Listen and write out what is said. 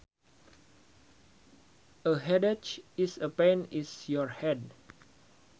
A headache is a pain in your head